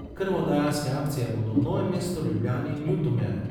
Krvodajalske akcije bodo v Novem mestu, Ljubljani in Ljutomeru.